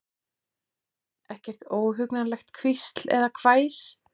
Ekkert óhugnanlegt hvísl eða hvæs.